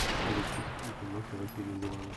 покажи список где снимался василий ливанов